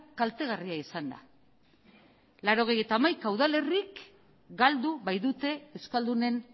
kaltegarria izan da laurogeita hamaika udalerrik galdu baitute euskaldunen